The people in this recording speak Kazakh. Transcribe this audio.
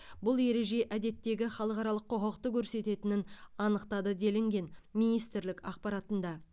бұл ереже әдеттегі халықаралық құқықты көрсететінін анықтады делінген министрлік ақпаратында